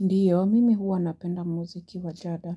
Ndiyo, mimi huwa napenda muziki wajada.